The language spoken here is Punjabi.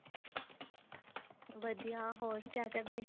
ਵਧੀਆ ਹੋਰ ਕਿਆ ਕਰਦੇ